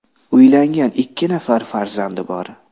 Uylangan, ikki nafar farzandi bor.